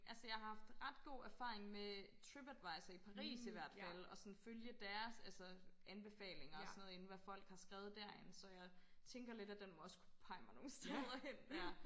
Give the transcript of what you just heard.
Altså jeg har haft ret god erfaring med Tripadvisor i Paris i hvert fald og sådan følge deres altså anbefalinger og sådan noget inden hvad folk har skrevet derinde så jeg tænker lidt at den må også kunne pege mig nogle steder hen